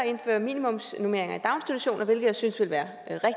indføre minimumsnormeringer i daginstitutioner hvilket jeg synes ville være